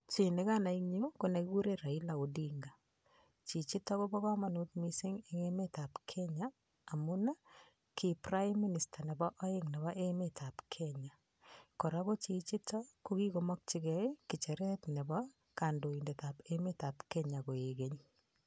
Chii nekanai en yuu ko nekikuren Raila Omolo Odinga, chichiton kobo komonut mising en emetab Kenya amun kii prime minister nebo oeng en emetab Kenya, kora ko chichiton ko kikomokyi ng'echeret nebo kondoitetab emetab Kenya koeny.